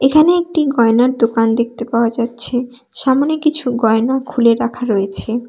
এখানে একটি গয়নার দোকান দেখতে পাওয়া যাচ্ছে সামোনে কিছু গয়না খুলে রাখা রয়েছে।